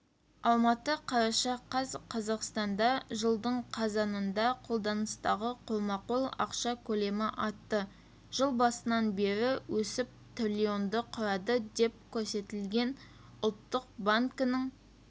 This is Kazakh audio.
алматы қараша қаз қазақстанда жылдың қазанында қолданыстағы қолма-қол ақша көлемі артты жыл басынан бері өсіп триллионды құрады деп көрсетілген ұлттық банкінің